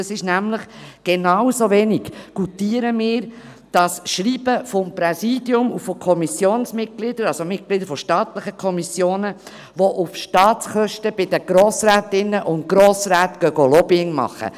Wir goutieren genauso wenig das Schreiben des Präsidiums und von Kommissionsmitgliedern, das heisst von Mitgliedern staatlicher Kommissionen, mit dem diese auf Staatskosten bei den Grossrätinnen und Grossräten Lobbying machen.